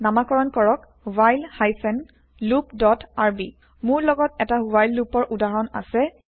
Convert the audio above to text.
নামাকৰন কৰক while hyphen loop dot R মোৰ লগত এটা ৱ্হাইল loopৰ উদাহৰণ আছে